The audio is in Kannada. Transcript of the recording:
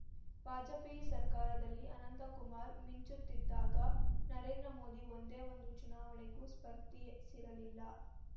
ವಾಜಪೇಯಿ ಸರ್ಕಾರದಲ್ಲಿ ಅನಂತ ಕುಮಾರ್‌ ಮಿಂಚುತ್ತಿದ್ದಾಗ ನರೇಂದ್ರ ಮೋದಿ ಒಂದೇ ಒಂದು ಚುನಾವಣೆಗೂ ಸ್ಪರ್ಧಿಯೆ ಸಿರಲಿಲ್ಲ